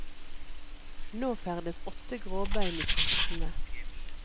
Nå ferdes åtte gråbein i traktene.